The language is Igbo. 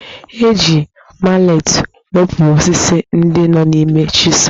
E ji maletị wepụ osisi ndị nọ n'ime chisel